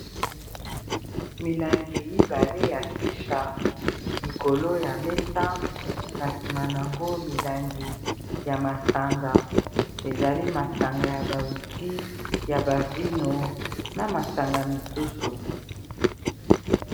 Milangi mibale ya chicha likolo ya mesa na sima yango milangi ya masanga ezali masanga ya ba wiskey ya bavino na masanga misusu